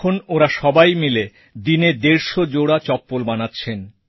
এখন ওঁরা সবাই মিলে দিনে দেড়শো জোড়া চপ্পল বানাচ্ছেন